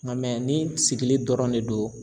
Ŋa ni sigili dɔrɔn de don